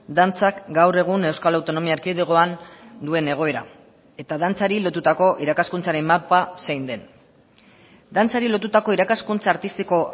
dantzak gaur egun euskal autonomia erkidegoan duen egoera eta dantzari lotutako irakaskuntzaren mapa zein den dantzari lotutako irakaskuntza artistiko